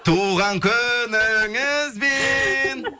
туған күніңізбен